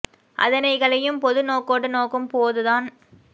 அதனை களையும் பொது நோக்கோடு நோக்கும் போது தான்